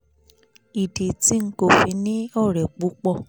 ìdí tí n kò fi ní ọ̀rẹ́ púpọ̀